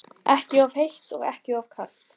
Ekki of heitt og ekki of kalt?